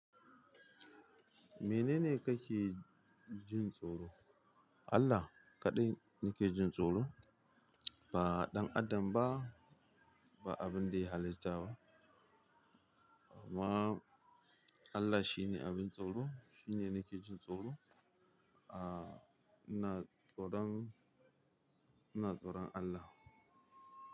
Menene kake jin tsoro? Allah kaɗai nake jin tsoro. Ba ɗan adam ba, ba abin da ya halitta ba. Amma Allah shine abun tsoro shine nake jin tsoro Aaa, ina tsoran, ina tsoran Allah.